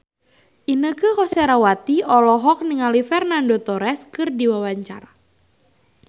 Inneke Koesherawati olohok ningali Fernando Torres keur diwawancara